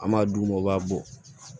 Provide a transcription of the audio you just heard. An b'a d'u ma u b'a bɔ